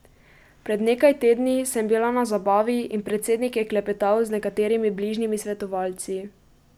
Pred nekaj tedni sem bila na zabavi in predsednik je klepetal z nekaterimi bližnjimi svetovalci.